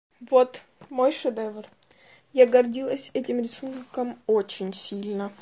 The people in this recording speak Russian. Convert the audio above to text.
вот мой шедевр я гордилась этим рисунком очень сильно